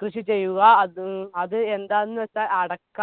കൃഷി ചെയ്യുക അത് അത് എന്താന്ന് വെച്ച അടക്ക